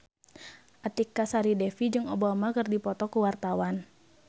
Artika Sari Devi jeung Obama keur dipoto ku wartawan